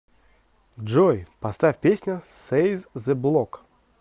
джой поставь песня сэйз зэ блок